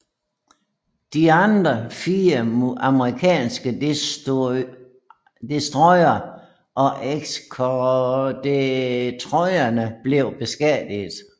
De andre fire amerikanske destroyere og eskortedestroyere blev beskadiget